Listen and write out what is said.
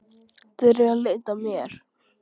Þeir eru að leita að mér